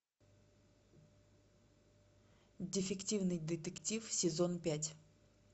дефективный детектив сезон пять